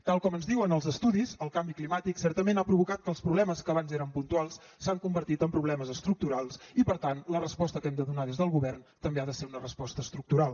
tal com ens diuen els estudis el canvi climàtic certament ha provocat que els problemes que abans eren puntuals s’han convertit en problemes estructurals i per tant la resposta que hem de donar des del govern també ha de ser una resposta estructural